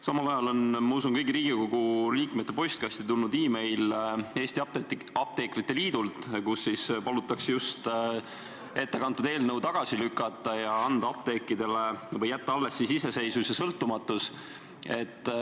Samal ajal on, ma usun, kõigi Riigikogu liikmete postkasti tulnud e-kiri Eesti Apteekrite Liidult, kus palutakse äsja ette kantud eelnõu tagasi lükata ja anda apteekidele või jätta alles iseseisvus ja sõltumatus.